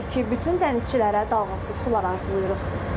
Odur ki, bütün dənizçilərə dalğasız sular arzulayırıq.